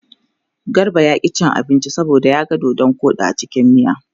Garba ya ƙi cin abinci saboda ya ga dodon koɗi a cikin miya.